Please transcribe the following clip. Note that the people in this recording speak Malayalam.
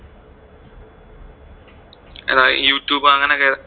ആ youtube അങ്ങനെ ഒക്കെ,